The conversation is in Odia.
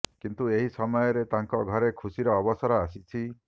କିନ୍ତୁ ଏହି ସମୟରେ ତାଙ୍କ ଘରେ ଖୁସିର ଅବସର ଆସିଛି